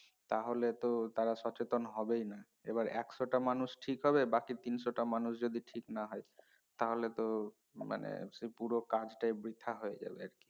তা হলে তো তারা সচেতন হবেই না এবার একশো টা মানুষ ঠিক হবে বাকি তিনশো টা মানুষ যদি ঠিক না হয় তাহলে তো মানে পুরো কাজ টাই বৃথা হয়ে যাবে এই আর কি